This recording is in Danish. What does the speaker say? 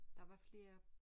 Der var flere